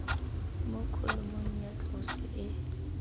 mo kholomong ya tloso e